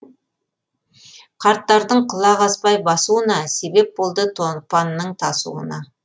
қарттардың құлақ аспай басуына себеп болды тонпанның тасуына